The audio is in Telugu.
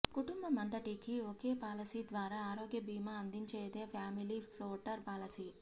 కుటుంబమంతటికీ ఒకే పాలసీ ద్వారా ఆరోగ్య బీమా అందించేదే ఫామిలీ ఫ్లోటర్ పాలసీ